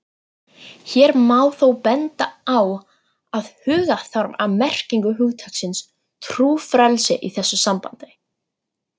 Hér má þó benda á að huga þarf að merkingu hugtaksins trúfrelsi í þessu sambandi.